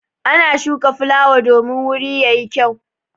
Ana shuka fulawa domin wuri ya yi gyau.